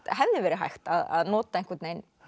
hefði verið hægt að nota einhvern veginn